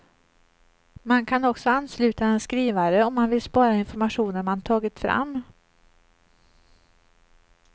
Man kan också ansluta en skrivare om man vill spara informationen man tagit fram.